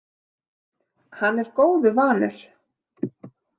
Hann er góðu vanur.